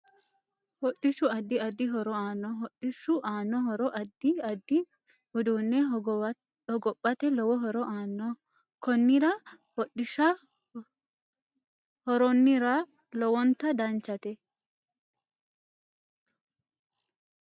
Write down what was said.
Hodhishu addi addi horo aanno hodhishu aanno horo addi addi uduune hogophate lowo horo aanno konnira hodhisha horoonira lowonta danchate